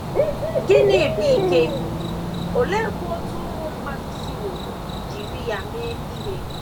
Gịnị bụ ike, oleekwa otú ụmụ mmadụ siworo jiri ya mee ihe?